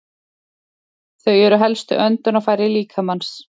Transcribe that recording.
Þau eru helstu öndunarfæri líkamans.